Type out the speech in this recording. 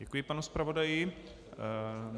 Děkuji panu zpravodaji.